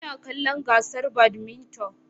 Ina kallon gasar badminton